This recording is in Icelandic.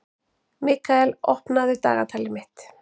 Mikkael, opnaðu dagatalið mitt.